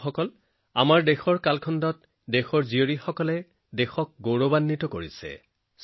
বন্ধুসকল যুগ যুগ ধৰি আমাৰ ভাৰত ভূমি ভাৰতৰ গুণী কন্যাসকলে মহিমামণ্ডিত কৰি আহিছে